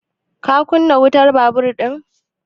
Ka kunna wutan babur ɗin?